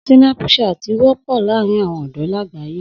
Sínápùsaatì wọ́pọ̀ láàárín àwọn ọ̀dọ́ làgbáyé